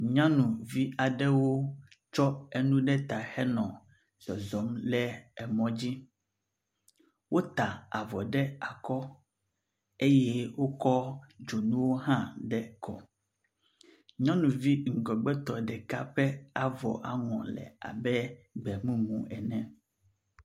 nyanuvi aɖewo tsɔ enu ɖe ta henɔ zɔzɔm le mɔdzi wota avɔ ɖe akɔ eye wokɔ dzonuwo hã ɖe kɔ nyɔnuvi ŋgɔgbetɔ ɖeka ƒe avɔ ƒe aŋɔ le abe gbemumu ene